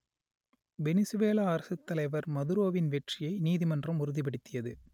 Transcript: Venezuela அரசுத்தலைவர் மதுரோவின் வெற்றியை நீதிமன்றம் உறுதிப்படுத்தியது